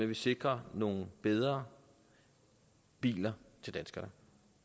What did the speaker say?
vi sikrer nogle bedre biler til danskerne